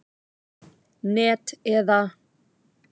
net eða.